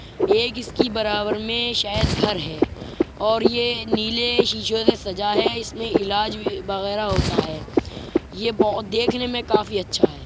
एक इसकी बराबर में शायद घर है और ये नीले शीशों ने सजा है। इसमें इलाज भी वगैरा होता है। ये बोहोत देखने में काफ़ी अच्छा है।